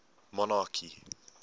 monarchy